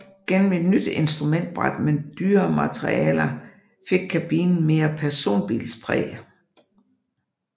Gennem et nyt instrumentbræt med dyrere materialer fik kabinen mere personbilspræg